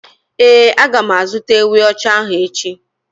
Ee, a ga m azụta ewi ocha ahụ echi